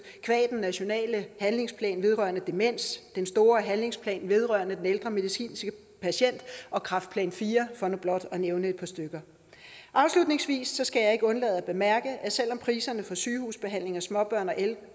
den nationale handlingsplan vedrørende demens den store handlingsplan vedrørende de ældre medicinske patienter og kræftplan iv for nu blot at nævne et par stykker afslutningsvis skal jeg ikke undlade at bemærke at selv om priserne for sygehusbehandling af småbørn